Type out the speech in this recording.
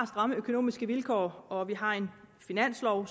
stramme økonomiske vilkår og vi har en finanslov